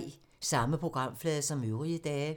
Samme programflade som øvrige dage